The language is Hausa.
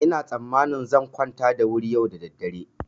Ina tsammanin zan kwanta da wuri yau da daddare.